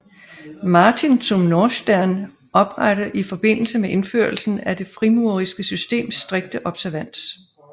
Martin zum Nordstern oprettet i forbindelse med indførelsen af det frimureriske system strikte observans